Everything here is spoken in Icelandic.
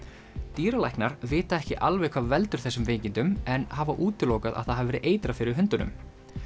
dýralæknar vita ekki alveg hvað veldur þessum veikindum en hafa útilokað að það hafi verið eitrað fyrir hundunum